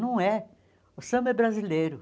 Não é. O samba é brasileiro.